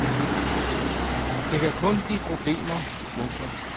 Det kan kun give problemer. punktum